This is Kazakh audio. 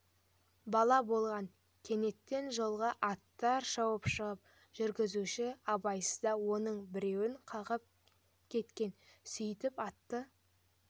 бала болған кенеттен жолға аттар шауып шығып жүргізуші абайсызда оның біреуін қағып кеткен сөйтіп атты